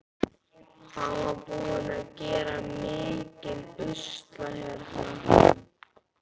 Hann var búinn að gera mikinn usla hérna.